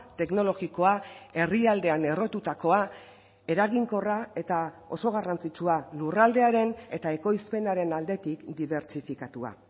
teknologikoa herrialdean errotutakoa eraginkorra eta oso garrantzitsua lurraldearen eta ekoizpenaren aldetik dibertsifikatua